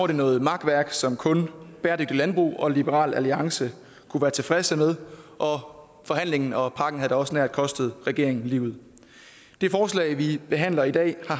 det noget makværk som kun bæredygtigt landbrug og liberal alliance kunne være tilfredse med og forhandlingen og pakken havde da også nær kostet regeringen livet det forslag vi behandler i dag har